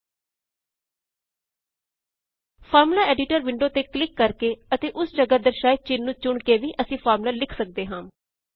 formula editor window ਤੇ click ਕਰਕੇ ਅਤੇ ਓਸ ਜਗਾਹ ਦਰਸਾਏ ਚਿੰਨ ਚੁਣ ਕੇ ਵੀ ਅਸੀਂ ਫ਼ਾਰਮੂਲਾ ਲਿਖ ਸਕਦੇ ਹਾਂ